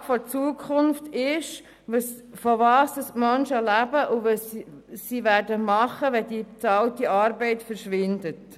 Die Frage der Zukunft ist, wovon die Menschen leben und was sie tun werden, wenn die bezahlte Arbeit verschwindet.